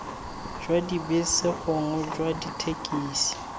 jwa dibese gongwe jwa dithekisi